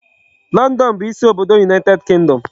London bụ isi obodo United Kingdom.